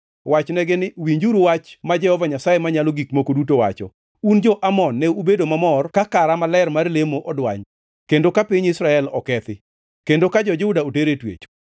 Wachnegi ni: ‘Winjuru wach ma Jehova Nyasaye Manyalo Gik Moko Duto wacho: Un jo-Amon ne ubedo mamor ka kara maler mar lemo odwany, kendo ka piny Israel okethi, kendo ka jo-Juda oter e twech,